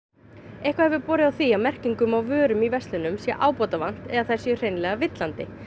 eitthvað hefur borið á því að merkingum á vörum í verslunum sé ábótavant eða þær séu hreinlega villandi